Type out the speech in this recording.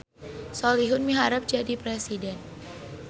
Solihun miharep jadi presiden